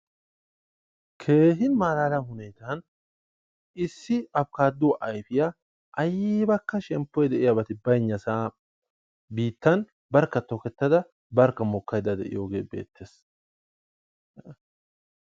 Keehin malala hunetaan issi abikaaduwa ayfiyaaybbakka shemppoy baynnaa mela biittan barkka tokketada barkka mokkaydda de'iyooge beettees.